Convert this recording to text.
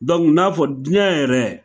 Dɔnku n'a fɔ diɲɛ yɛrɛ